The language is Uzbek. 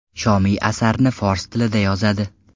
Shomiy asarni fors tilida yozadi.